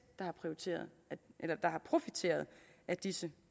der har profiteret profiteret af disse